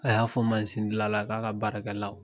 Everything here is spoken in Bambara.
A y'a fɔ masindilanla k'a ka baarakɛlaw